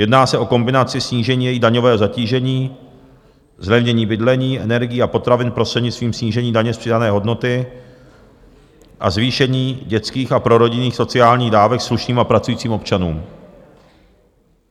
Jedná se o kombinaci snížení jejich daňového zatížení, zlevnění bydlení, energií a potravin prostřednictvím snížení daně z přidané hodnoty a zvýšení dětských a prorodinných sociálních dávek slušným a pracujícím občanům.